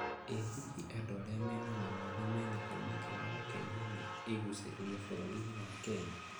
I hihi andũ arĩa mena mawathe mena kamweke ga gũkenio nĩ igucĩrĩrio bũrũrini wa Kenya?